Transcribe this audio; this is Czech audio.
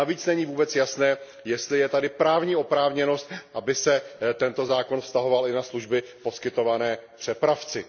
Navíc není vůbec jasné, jestli je tady právní oprávněnost, aby se tento zákon vztahoval i na služby poskytované přepravci.